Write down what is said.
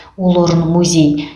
ол орын музей